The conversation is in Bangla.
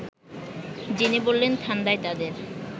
যিনি বললেন ঠাণ্ডায় তাঁদের